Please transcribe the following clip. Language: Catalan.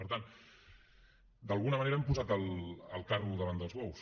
per tant d’alguna manera han posat el carro davant dels bous